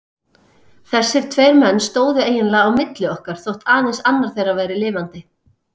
Þessir tveir menn stóðu eiginlega á milli okkar þótt aðeins annar þeirra væri lifandi.